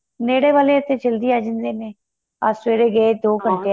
ਨੇੜੇ ਵਾਲੇ ਤੇ ਜੱਲਦੀ ਆਂ ਜਾਂਦੇ ਨੇ ਅੱਜ ਸਵੇਰੇ ਗਏ ਦੋ ਘੰਟੇ